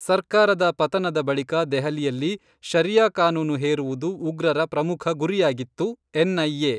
ಸರ್ಕಾರದ ಪತನದ ಬಳಿಕ ದೆಹಲಿಯಲ್ಲಿ ಷರಿಯಾ ಕಾನೂನು ಹೇರುವುದು ಉಗ್ರರ ಪ್ರಮುಖ ಗುರಿಯಾಗಿತ್ತು: ಎನ್ಐಎ.